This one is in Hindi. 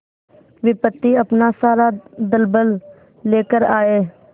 विपत्ति अपना सारा दलबल लेकर आए